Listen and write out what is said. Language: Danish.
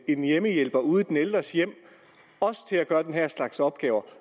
en hjemmehjælper ude i den ældres hjem også til at gøre den her slags opgaver